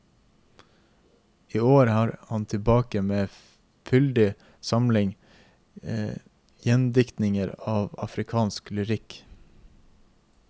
I år er han tilbake med en fyldig samling gjendiktninger av afrikansk lyrikk.